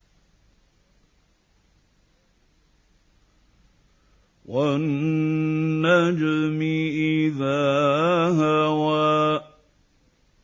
وَالنَّجْمِ إِذَا هَوَىٰ